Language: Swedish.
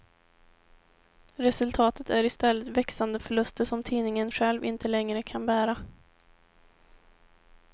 Resultatet är i stället växande förluster som tidningen själv inte längre kan bära.